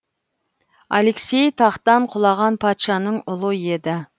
алексей тақтан құлаған патшаның ұлы еді